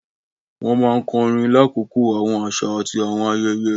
Wọn máa nkorin lakoko awọn aṣa ati awọn ayẹyẹ.